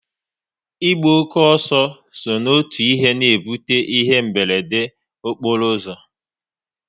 Ịgba oke ọsọ so n'otu ihe na-ebute ihe mberede okporo ụzọ